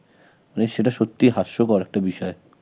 মানে সেটা সত্যি হাস্যকর একটা বিষয়